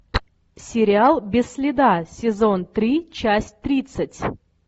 сериал без следа сезон три часть тридцать